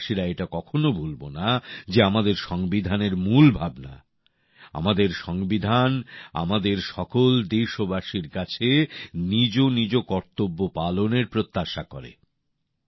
আমরা দেশবাসীরা এটা কখনও ভুলব না যে আমাদের সংবিধানের মূল ভাবনা আমাদের সংবিধান আমাদের সকল দেশবাসীর কাছে নিজ নিজ কর্তব্য পালনের প্রত্যাশা করে